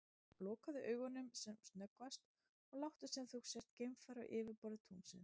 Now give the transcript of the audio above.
Lokaðu augunum sem snöggvast og láttu sem þú sért geimfari á yfirborði tunglsins.